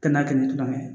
Kɛnɛya kɛ ni tuma min